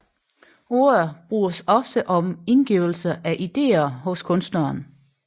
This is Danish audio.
Ordet bruges ofte om indgivelse af ideer hos kunstneren